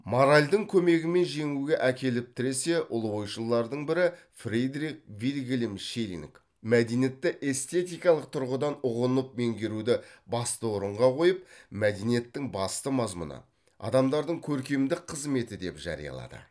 моральдың көмегімен жеңуге әкеліп тіресе ұлы ойшылдардың бірі фридрих вильгельм шеллинг мәдениетті эстетикалық тұрғыдан ұғынып меңгеруді басты орынға қойып мәдениеттің басты мазмұны адамдардың көркемдік қызметі деп жариялады